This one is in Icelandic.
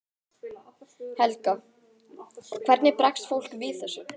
Helga: Hvernig bregst fólk við þessu?